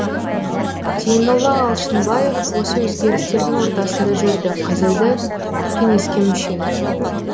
зейнолла алшынбаев осы өзгерістердің ортасында жүрді қазірді кеңеске мүше